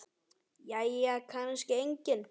Jæja kannski enginn.